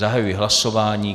Zahajuji hlasování.